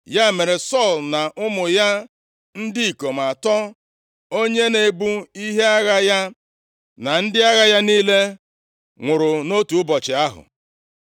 Ya mere, Sọl na ụmụ ya ndị ikom atọ, onye na-ebu ihe agha ya na ndị agha ya niile, nwụrụ nʼotu ụbọchị ahụ.